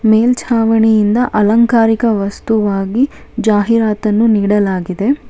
ಮೇಲ್ಚಾವಣಿಯಿಂದ ಅಲಂಕಾರಿಕ ವಸ್ತುವಾಗಿ ಜಾಹೀರಾತನ್ನು ನೀಡಲಾಗಿದೆ.